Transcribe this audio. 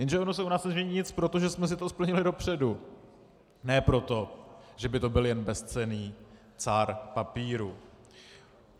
Jenže ono se u nás nezmění nic, protože jsme si to splnili dopředu, ne proto, že by to byl jen bezcenný cár papíru.